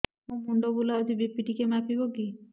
ମୋ ମୁଣ୍ଡ ବୁଲାଉଛି ବି.ପି ଟିକିଏ ମାପିବ କି